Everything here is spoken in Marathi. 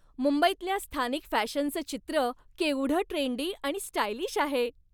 मुंबईतल्या स्थानिक फॅशनचं चित्र केवढं ट्रेंडी आणि स्टायलिश आहे!